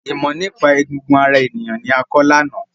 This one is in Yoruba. Ìmọ nípa egungun ara ènìyàn ni a kọ lána.